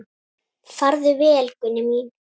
Farðu vel, Gunný mín.